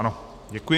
Ano, děkuji.